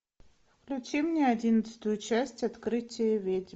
включи мне одиннадцатую часть открытие ведьм